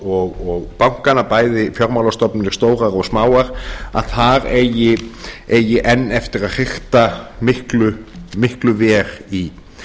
og bankana bæði fjármálastofnanir stórar og smáar að þar eigi enn eftir að hrikta miklu verr í